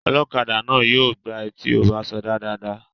Ọlọ́kadà náà yóò gbá ẹ tí ò bá sọdá dáadáa